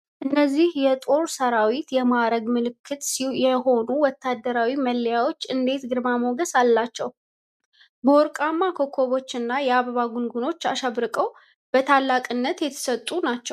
እነዚህ የጦር ሠራዊት የማዕረግ ምልክት የሆኑት ወታደራዊ መለያዎች እንዴት ግርማ ሞገስ አላቸው! በወርቃማ ኮከቦችና የአበባ ጉንጉኖች አሽብርቀው፣ ለታላቅነት የተሰጡ ናቸው!